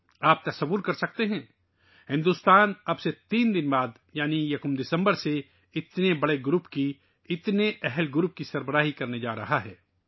آپ تصور کر سکتے ہیں بھارت اب سے 3 دن بعد یعنی یکم دسمبر سے اتنے بڑے گروپ، اتنے طاقتور گروپ کی صدارت کرنے جا رہا ہے